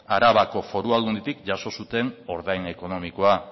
arabako foru aldunditik jaso zuten ordain ekonomikoa